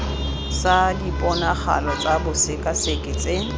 sa diponagalo tsa bosekaseki tse